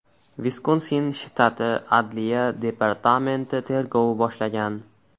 Viskonsin shtati adliya departamenti tergov boshlagan.